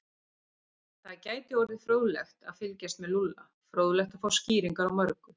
Það gæti orðið fróðlegt að fylgjast með Lúlla, fróðlegt að fá skýringar á mörgu.